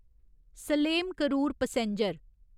Salem Karur passenger